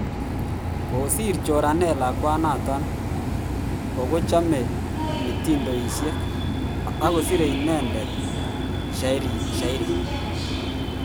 Kosir choranet ko lakwanoton ko chome mitiindoishek, akosire inendet shairishek.